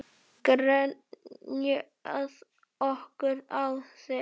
Grenjað okkur á þing?